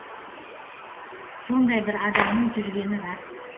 сондай бір адамның жүргені рас